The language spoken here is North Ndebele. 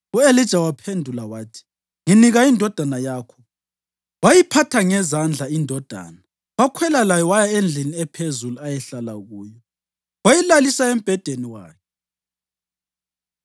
U-Elija waphendula wathi, “Nginika indodana yakho.” Wayiphatha ngezandla indodana, wakhwela layo waya endlini ephezulu ayehlala kuyo, wayilalisa embhedeni wakhe.